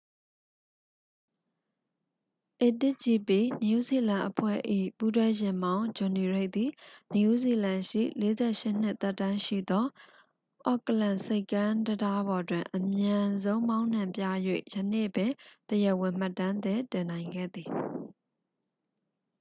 a1gp နယူးဇီလန်အဖွဲ့၏ ပူးတွဲယာဉ်မောင်း ဂျွန်နီရိတ်သည် နယူးဇီလန်ရှိ 48 နှစ် သက်တမ်းရှိသော အော့ကလန်ဆိပ်ကမ်းတံတားပေါ်တွင် အမြန်ဆုံးမောင်းနှင်ပြ၍ ယနေ့ပင် တရားဝင် မှတ်တမ်းသစ် တင်နိုင်ခဲ့သည်